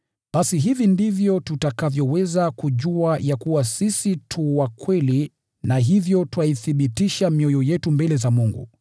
Basi hivi ndivyo tutakavyoweza kujua ya kuwa sisi tu wa kweli na hivyo twaithibitisha mioyo yetu mbele za Mungu